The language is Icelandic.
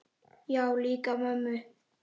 Já, líka mömmu